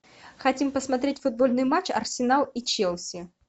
хотим посмотреть футбольный матч арсенал и челси